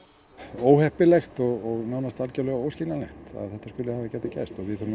óheppilegt og nánast algerlega óskiljanlegt að þetta skuli hafa getað gerst við þurfum